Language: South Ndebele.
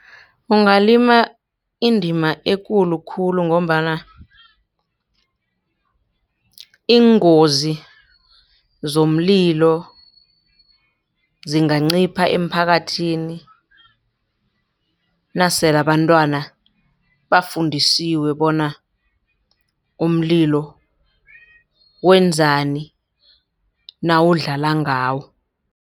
Ungalima indima ekulu khulu ngombana iingozi zomlilo zingancipha emphakathini. Nasele abantwana bafundisiwe bona umlilo wenzani nawudlala ngawo.